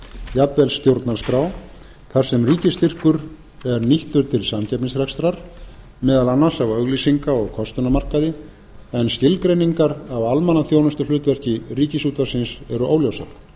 jafnvel stjórnarskrá þar sem ríkisstyrkur er nýttur til samkeppnisrekstrar meðal annars á auglýsinga og kostunarmarkaði en skilgreiningar á almannaþjónustuhlutverki ríkisútvarpsins eru óljósar